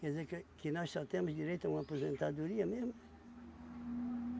Quer dizer que que nós só temos direito a uma aposentadoria mesmo.